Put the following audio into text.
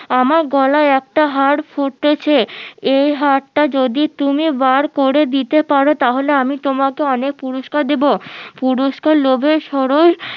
আমার গলায় একটা হার ফুটেছে এই হারটা যদি তুমি বার করে দিতে পারো তাহলে আমি তোমাকে অনেক পুরস্কার দেবো পুরুষ্কের লোভে সরস